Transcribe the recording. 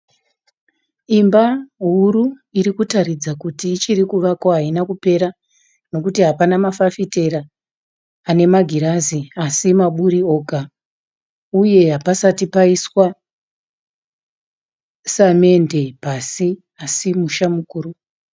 Imba huru iri kutaridza kuti ichiri kuvakwa haina kupera nekuti hapana fafitera ane magirazi asi maburi oga, uye hapasati paiswa samende pasi semusha mukuru.